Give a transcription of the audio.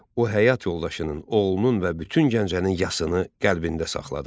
O həyat yoldaşının, oğlunun və bütün Gəncənin yasını qəlbində saxladı.